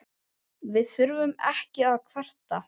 Við þurfum ekki að kvarta.